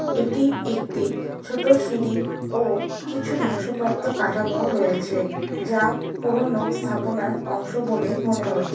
এটি একটি ছোট সিঁড়ি ও কিছু ধ্বংসপ্রাপ্ত কাঠামো রয়েছে যা পুরোনো স্থাপনার অংশ বলে মনে হচ্ছে।